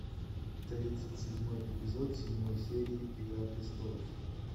тридцать седьмой эпизод седьмой серии игра престолов